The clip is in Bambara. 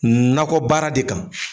Nakɔ baara de kan.